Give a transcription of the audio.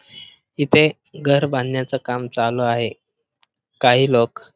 इथे घर बांधण्याच काम चालू आहे काही लोक--